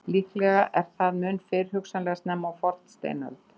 Líklega er það mun fyrr, hugsanlega snemma á fornsteinöld.